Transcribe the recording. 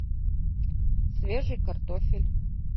свежий картофель